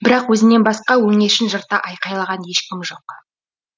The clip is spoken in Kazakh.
бірақ өзінен басқа өңешін жырта айқайлаған ешкім жоқ